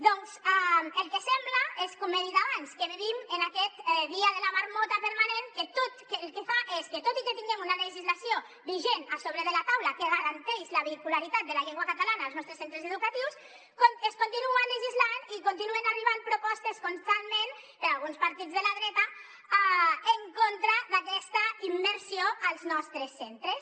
doncs el que sembla és com he dit abans que vivim en aquest dia de la marmota permanent que el que fa és que tot i que tinguem una legislació vigent a sobre de la taula que garanteix la vehicularitat de la llengua catalana als nostres centres educatius es continua legislant i continuen arribant propostes constantment per alguns partits de la dreta en contra d’aquesta immersió als nostres centres